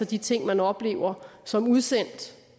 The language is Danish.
de ting man oplever som udsendt